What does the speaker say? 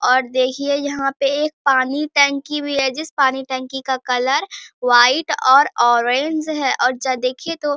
और देखिये यहां पे एक पानी टंकी भी है जिस पानी टंकी का कलर व्हाइट और ऑरेंज है और देखिये दो --